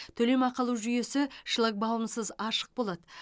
төлемақы алу жүйесі шлагбаумсыз ашық болады